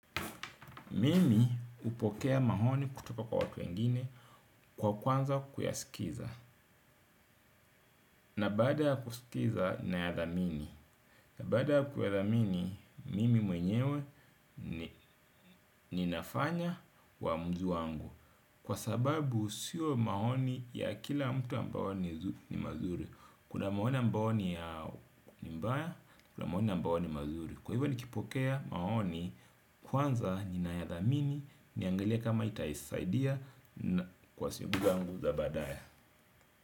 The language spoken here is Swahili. Mimi hupokea maoni kutoka kwa watu wengine kwa kuanza kuyasikiliza. Na bada kusikiliza naya dhamini. Na baada kuyadhamini, mimi mwenyewe ninafanya uamuzi wangu. Kwa sababu sio maoni ya kila mtu ambao ni mazuri. Kuna maoni ambayo ni mabaya, kuna maoni ambayo ni mazuri. Kwahiyo nikipokea maoni kwanza ni na yadhamini, niangalie kama itasaidia. Kwa siku zangu za baadae.